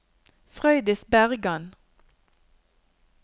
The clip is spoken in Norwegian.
Frøydis Bergan